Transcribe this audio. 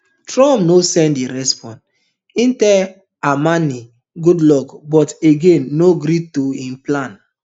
trump no send di response im tell amenei good luck but again no gree to im plans